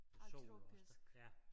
Ah tropisk